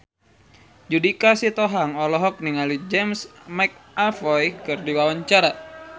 Judika Sitohang olohok ningali James McAvoy keur diwawancara